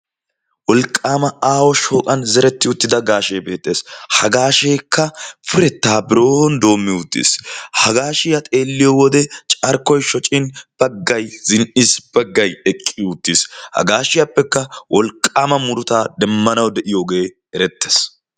wolqqaama aa7o shooqan zeretti uttida gaashee beexxees. hagaa sheekka purettaa biron doommi uttiis. hagaa shiyaa xeelliyo wode carkkoi shocin baggai zin77iis baggai eqqi uttiis .hagaa shiyaappekka wolqqaama murutaa demmanau de7iyoogee erettees.